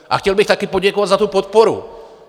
A chtěl bych taky poděkovat za tu podporu.